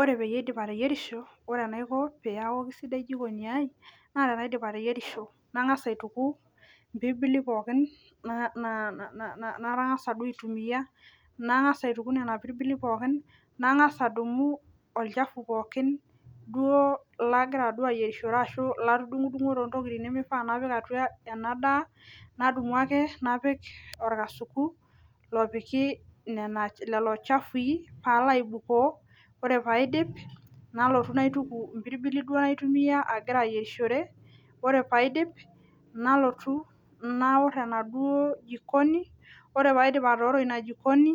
Ore peeaidip ateyierisho ore enaiko peeaku keisidai jikoni aaai naa tenaidip ateyierisho nang'as aituku mpirbili pooki nang'asa duo aitumiya nang'as aituku nena pirbili pookin nang'as adumu olchafu pookin lagira duo ayierishore ashuu latudung'udunguo lemeifaa napik ena daa nadumu ake napik orkasuku lopiki lelo chafui nalaibukoo ore paidip nalotu naitiku impirbili duo nagira aitumiya ayierishore ore paidip nalotu naor ena duo jikoni ore paidip. atooro inajikoni